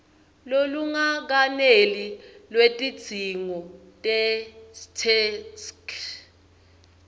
lolungakeneli lwetidzingo tetheksthi